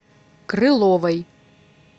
крыловой